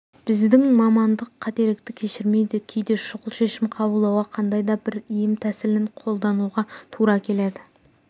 біздің мамандық қателікті кешірмейді кейде шұғыл шешім қабылдауға қандай да бір ем тәсілін қолдануға тура келеді